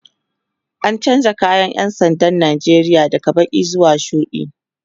an chanza kayan ƴan sandan Nigeria daga Baki zuwa shuɗi